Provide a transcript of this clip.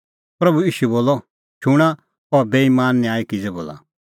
प्रभू ईशू बोलअ शूणां अह बेईमान न्यायी किज़ै बोला